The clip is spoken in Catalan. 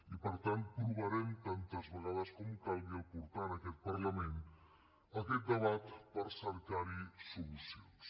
i per tant provarem tantes vegades com calgui portar a aquest parlament aquest debat per cercar hi solucions